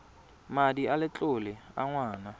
madi a letlole a ngwana